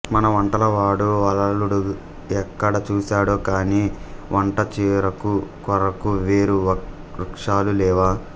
మన వంటల వాడు వలలుడు ఎక్కడ చూసాడో కాని వంట చెరకు కొరకు వేరు వృక్షాలు లేవా